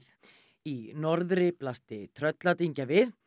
í norðri blasti Trölladyngja við